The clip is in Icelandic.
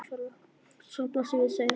Svarið blasir við, segir hann.